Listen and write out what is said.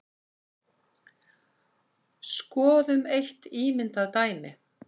Skoðum eitt ímyndað dæmi.